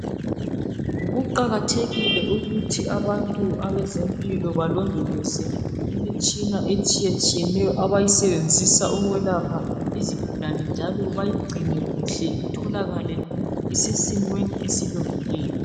Kuqakathekile ukuthi abantu abezempilo balondoloze imitshina etshiyetshiyeneyo abayisebenzisa ukwelapha izigulane njalo bayigcine kuhle itholakale isisesimweni esilungileyo.